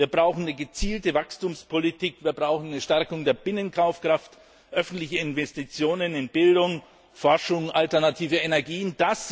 Wir brauchen eine gezielte Wachstumspolitik, wir brauchen eine Stärkung der Binnenkaufkraft, öffentliche Investitionen in Bildung, Forschung, alternative Energien.